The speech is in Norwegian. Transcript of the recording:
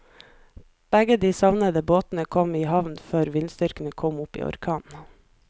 Begge de savnede båtene kom i havn før vindstyrken kom opp i orkan.